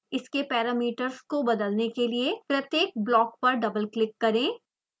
इसके पैरामीटर्स को बदलने के लिए प्रत्येक block पर डबलक्लिक करें